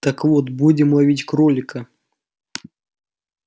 так вот будем ловить кролика